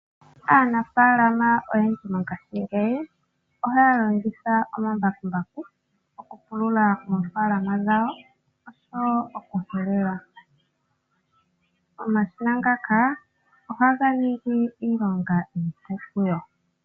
Aanafaalama oyendji mongashingeyi ohaya longitha omambakumbaku okupulula oofaalama dhawo osho wo okuhelela. Omashina ngaka ohaga ningi iilonga iipu kuyo.